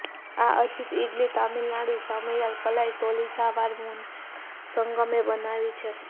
આ અજિત ઈડલી તમિલનાડુ સામૈયાલ કલાઈ તૌલીજાલર મુનેત્ર સંગમે બનાવી છે